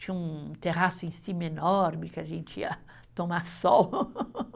Tinha um, um terraço em cima enorme, que a gente ia tomar sol.